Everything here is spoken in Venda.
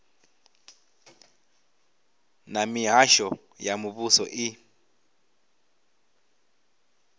na mihasho ya muvhuso i